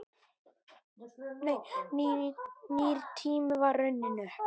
Nýr tími var runninn upp.